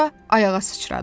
Sonra ayağa sıçradı.